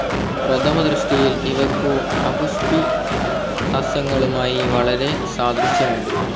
പ്രഥമ ദൃഷ്ടിയിൽ ഇവയ്ക്കു അപുഷ്പിസസ്യങ്ങളുമായി വളരെ സാദൃശ്യമുണ്ട്.